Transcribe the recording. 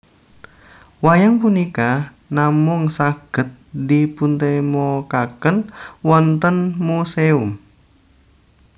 Wayang punika namung saged dipuntemokaken wonten muséum